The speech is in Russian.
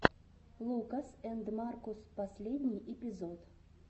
лукас энд маркус последний эпизод